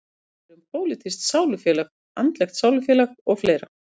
Talað er um pólitískt sálufélag, andlegt sálufélag og fleira.